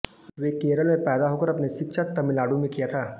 वे केरल में पैदा होकर अपनी शिक्षा तमिलनाडु में किया था